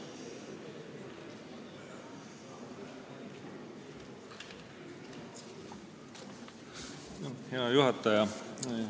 Hea juhataja!